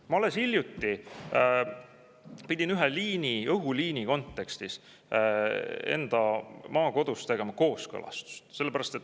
Ma alles hiljuti pidin ühe õhuliini kontekstis enda maakodus tegema kooskõlastust.